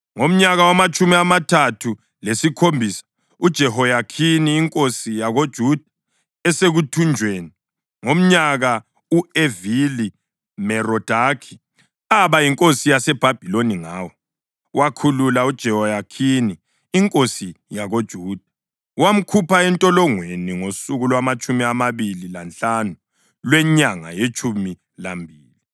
Ngomnyaka wamatshumi amathathu lesikhombisa uJehoyakhini inkosi yakoJuda esekuthunjweni, ngomnyaka u-Evili-Merodakhi aba yinkosi yaseBhabhiloni ngawo, wakhulula uJehoyakhini inkosi yakoJuda, wamkhupha entolongweni ngosuku lwamatshumi amabili lanhlanu lwenyanga yetshumi lambili.